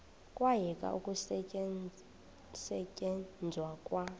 kwayekwa ukusetyenzwa kwa